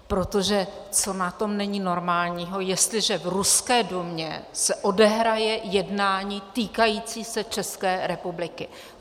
Protože co na tom není normálního, jestliže v ruské Dumě se odehraje jednání týkající se České republiky?